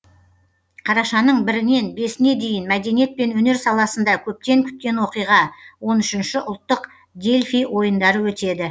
қарашаның бірінен бесіне дейін мәдениет пен өнер саласында көптен күткен оқиға он үшінші ұлттық дельфий ойындары өтеді